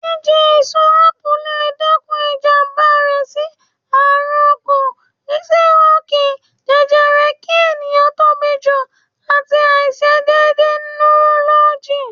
Jíjẹ èso Ápù lè dẹ́kun ìjàmbá rẹ sí àrùn ọkàn, sírókìì, jẹjẹrẹ, kí ẹ̀yàn tóbi jù, àti àìse dédé nurọ́lọ́gì.